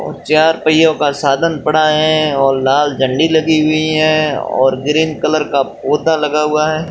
और चार पहियों का साधन पड़ा है और लाल झंडी लगी हुई है और ग्रीन कलर का पौधा लगा हुआ है।